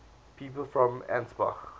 people from ansbach